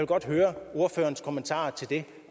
godt høre ordførerens kommentarer til det